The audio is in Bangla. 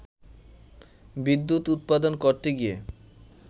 বিদ্যুৎ উৎপাদন করতে গিয়ে